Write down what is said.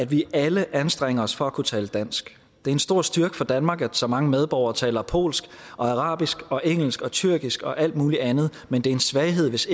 vi alle anstrenge os for at kunne tale dansk det er en stor styrke for danmark at så mange medborgere taler polsk og arabisk og engelsk og tyrkisk og alt muligt andet men det er en svaghed hvis